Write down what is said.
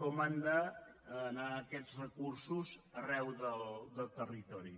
com han d’anar aquests recursos arreu del territori